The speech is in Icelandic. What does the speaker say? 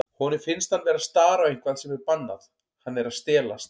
Honum finnst hann vera að stara á eitthvað sem er bannað, hann er að stelast.